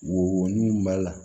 Wo nun b'a la